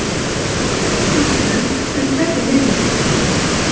Fleiri starfsmenn en færri nemendur